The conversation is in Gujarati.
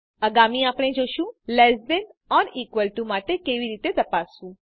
આગામી આપણે જોશું less than or equal to માટે કેવી રીતે તપાસવું